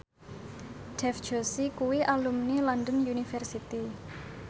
Dev Joshi kuwi alumni London University